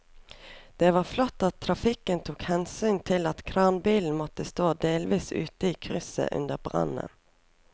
Det var flott at trafikken tok hensyn til at kranbilen måtte stå delvis ute i krysset under brannen.